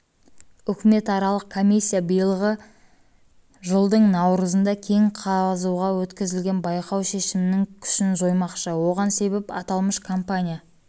үкіметаралық комиссия биылғы жылдың наурызында кен қазуға өткізілген байқау шешімінің күшін жоймақшы оған себеп аталмыш компания